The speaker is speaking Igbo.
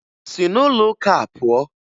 Si n'ụlọụka a pụọ!